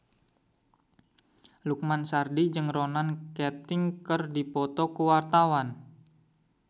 Lukman Sardi jeung Ronan Keating keur dipoto ku wartawan